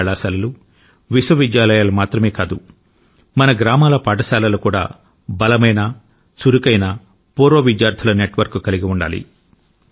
పెద్ద కళాశాలలు విశ్వవిద్యాలయాలు మాత్రమే కాదు మన గ్రామాల పాఠశాలలు కూడా బలమైన చురుకైన పూర్వ విద్యార్థుల నెట్వర్క్ కలిగి ఉండాలి